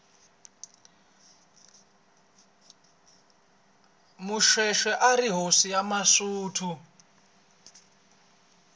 moshoeshoe arihhosi yamasuthu